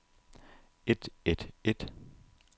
et et et